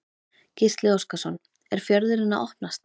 Gísli Óskarsson: Er fjörðurinn að opnast?